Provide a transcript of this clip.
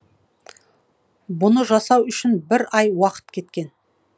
бұны жасау үшін бір ай уақыт кеткен